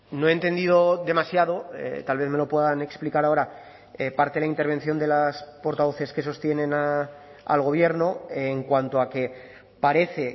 no he entendido demasiado tal vez me lo puedan explicar ahora parte de la intervención de las portavoces que sostienen al gobierno en cuanto a que parece